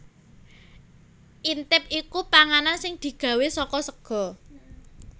Intip iku panganan sing digawé saka sega